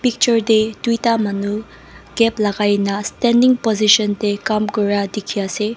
picture te duita Manu cap lagaina standing position te kaam kora dekhi ase.